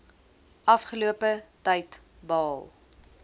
afgelope tyd behaal